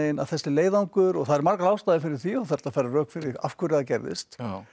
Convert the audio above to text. að þessi leiðangur og það eru margar ástæður fyrir því og hægt að færa rök fyrir því af hverju það gerðist